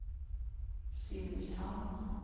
Simrishamn